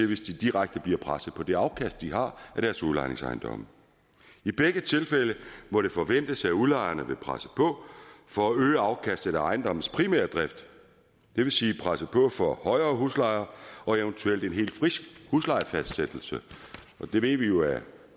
hvis de direkte bliver presset på det afkast de har af deres udlejningsejendomme i begge tilfælde må det forventes at udlejerne vil presse på for at øge afkastet af ejendommens primære drift det vil sige presse på for højere huslejer og eventuelt en hel huslejefastsættelse det ved vi jo at